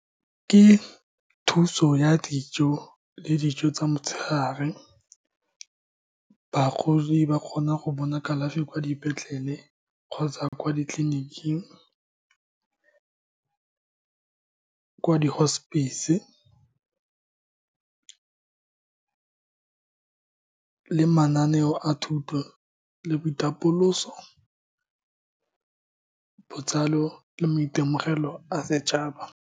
Ke thuso ya dijo le dijo tsa motshegare. Bagodi ba kgona go bona kalafi kwa dipetlele kgotsa kwa ditleliniking, ko di-hospice-se, le mananeo a thuto le boitapoloso, botsalo le maitemogelo a setšhaba.